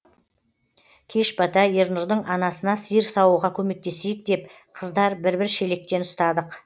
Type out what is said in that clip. кеш бата ернұрдың анасына сиыр саууға көмектесейік деп қыздар бір бір шелектен ұстадық